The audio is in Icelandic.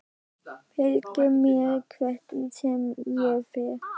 Fylgir mér hvert sem ég fer.